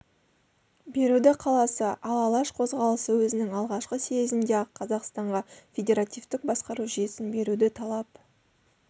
беруді қаласа ал алаш қозғалысы өзінің алғашқы съезінде-ақ қазақстанға федеративтік басқару жүйесін беруді талап